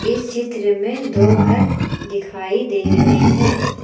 इस चित्र में दो घर दिखाई दे रहे हैं।